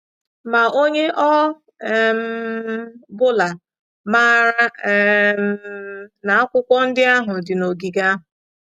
Ma onye ọ um bụla maara um na akwụkwọ ndị ahụ dị n’ogige ahụ...